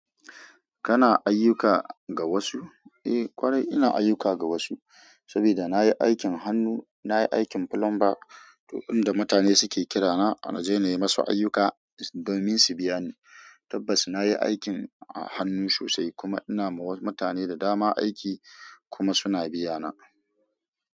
Kana ayyuka ga wasu? Eh kwarai ina ayyuka ga wasu, saboda na yi aikin hannu, na yi aikin plumber. To in da mutane suke kirana, na je na yi masu ayyuka, dominsu biya ni. Tabbas na yi aikin hannu sosai kuma ina ma wasu mutane da dama aiki kuma suna biya na.